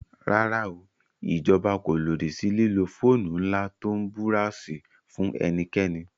Rárá o, ìjọba kò lòdì sí lílo fóònù ńlá tó ń búráósì fún ẹnikẹ́ni